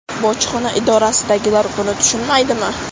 Bojxona idorasidagilar buni tushunmaydimi?